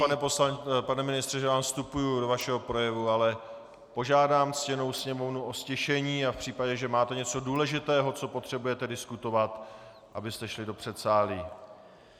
Já se omlouvám, pane ministře, že vám vstupuji do vašeho projevu, ale požádám ctěnou sněmovnu o ztišení a v případě, že máte něco důležitého, co potřebujete diskutovat, abyste šli do předsálí.